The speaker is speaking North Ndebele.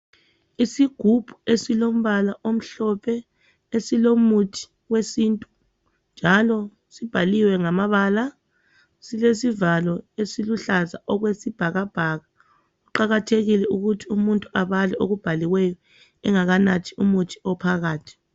Isigubhu esilombala omhlophe esilomuthi wesintu njalo sibhaliwe ngamabala silesivalo esiluhlaza okwesibhakabhaka kuqakathekile ukuthi umuntu abale okubhaliweyo engakanathi umuthi ophakathi